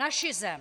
Naši zem.